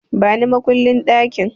Bani makullin ɗakin!